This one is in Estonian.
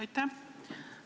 Aitäh!